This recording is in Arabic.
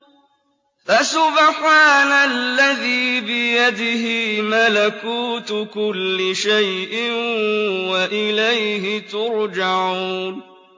فَسُبْحَانَ الَّذِي بِيَدِهِ مَلَكُوتُ كُلِّ شَيْءٍ وَإِلَيْهِ تُرْجَعُونَ